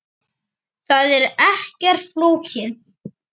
Það er ekkert flókið.